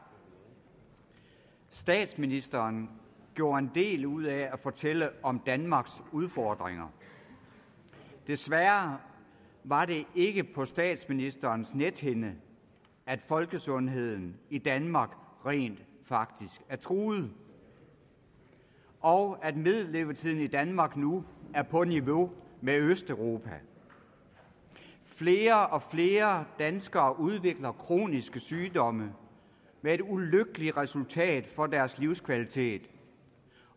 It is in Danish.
statsministeren gjorde en del ud af at fortælle om danmarks udfordringer desværre var det ikke på statsministerens nethinde at folkesundheden i danmark rent faktisk er truet og at middellevetiden i danmark nu er på niveau med østeuropas flere og flere danskere udvikler kroniske sygdomme med et ulykkeligt resultat for deres livskvalitet